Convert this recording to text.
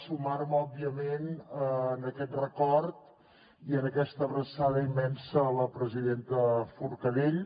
sumar me òbviament en aquest record i en aquesta abraçada immensa a la presidenta forcadell